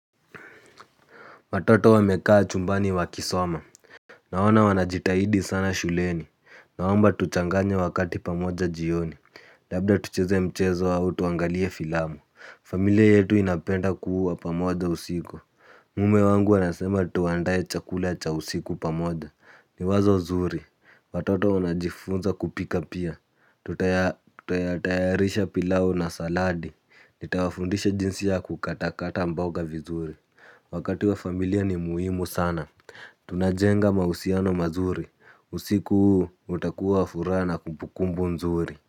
Watoto wamekaa chumbani wakisoma. Naona wanajitahidi sana shuleni. Naomba tuchanganya wakati pamoja jioni. Labda tucheze mchezo au tuangalie filamu. Familia yetu inapenda kuwa pamoja usiku. Mume wangu anasema tuandae chakula cha usiku pamoja. Ni wazo nzuri. Watoto wanajifunza kupika pia. Tutayarisha pilau na saladi. Nitawafundisha jinsi ya kukatakata mboga vizuri. Wakati wa familia ni muhimu sana. Tunajenga mahusiano mazuri. Usiku utakuwa furaha na kumbukumbu nzuri.